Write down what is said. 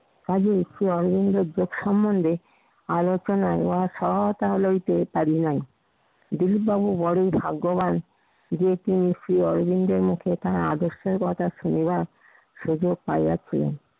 কাজেই শ্রী অরবিন্দের যোগ সমন্ধে আলোচনায় ওরা সহতলইতে পরিনাই দিলীপ বাবু বড়ই ভাগ্যবান যে, তিনি শ্রী অরবিন্দের মতো এখানে আদর্শের কথা শুনিবার সুযোগ পাইয়াছি।